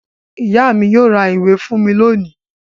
Ìyá mi yóò ra ìwé fún mi lónìí.